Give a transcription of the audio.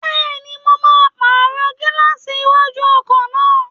Bẹ́ẹ̀ni, mo máa pàrọ̀ gílààsì iwájú ọkọ̀ náà